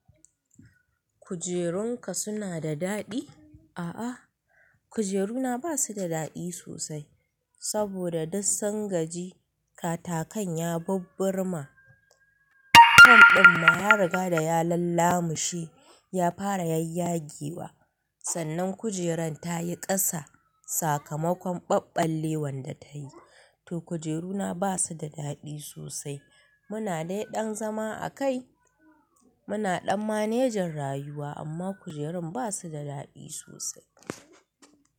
Kujerunka suna da daɗi? A'a, kujeruna ba su da daɗi sosai saboda duk sun gaji katakan ya bubbur ma. Kan ɗin ma ya riga da ya lallamushe ya fara yayyagewa. Sannan kujeran ta yi ƙasa sakamakon ɓaɓɓalewan da ta yi. To kujeruna ba su da daɗi sosai. Muna dai ɗan zama a kai. Muna ɗan manejin rayuwa amma kujerun ba su da daɗi sosai.